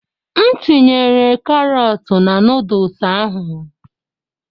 M tinyere karọt na noodus ahụ.